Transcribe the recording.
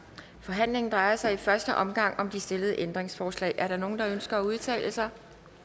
forhandlingen drejer sig i første omgang om de stillede ændringsforslag er der nogen der ønsker at udtale sig